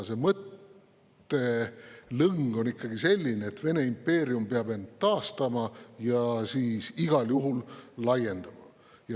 See mõttelõng on ikkagi selline, et Vene impeerium peab end taastama ja siis ka igal juhul laienema.